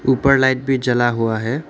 ऊपर लाइट भी जला हुआ है।